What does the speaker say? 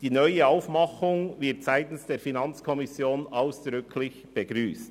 Die neue Aufmachung wird seitens der FiKo ausdrücklich begrüsst.